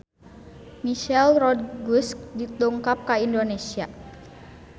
Michelle Rodriguez dongkap ka Indonesia